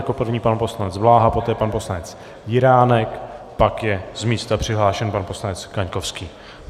Jako první pan poslanec Bláha, poté pan poslanec Jiránek, pak je z místa přihlášen pan poslanec Kaňkovský.